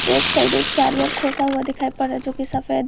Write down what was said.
left side एक charger खोसा हुआ दिखाई पड़ रहा है जो की सफेद--